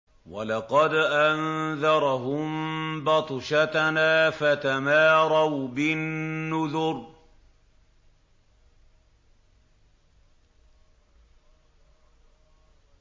وَلَقَدْ أَنذَرَهُم بَطْشَتَنَا فَتَمَارَوْا بِالنُّذُرِ